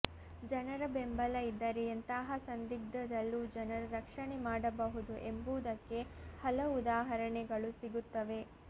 ಜನರ ಬೆಂಬಲ ಇದ್ದರೆ ಎಂತಹ ಸಂದಿಗ್ಧದಲ್ಲೂ ಜನರ ರಕ್ಷಣೆ ಮಾಡಬಹುದು ಎಂಬುದಕ್ಕೆ ಹಲವು ಉದಾಹರಣೆಗಳು ಸಿಗುತ್ತವೆ